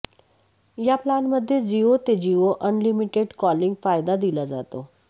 या प्लानमध्ये जिओ ते जिओ अनलिमिटेड कॉलिंग फायदा दिला जातो